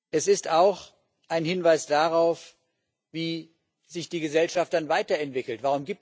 Es ist auch ein Hinweis darauf, wie sich die Gesellschaft weiterentwickelt.